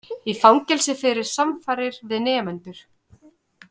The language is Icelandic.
Í fangelsi fyrir samfarir við nemendur